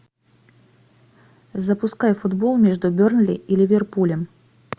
запускай футбол между бернли и ливерпулем